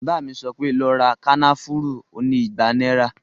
Bàbá mi sọ pé, "lọ ra kànáfùrú oní ìgbà náíra